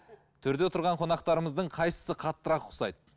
төрде отырған қонақтарымыздың қайсысы қаттырақ ұқсайды